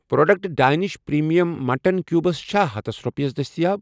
Product Danish premium mutton cubes چھا ہتس رۄپیَس دٔستِیاب؟